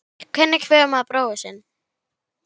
Hvernig kveður maður bróður sinn?